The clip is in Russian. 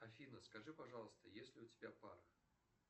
афина скажи пожалуйста есть ли у тебя пара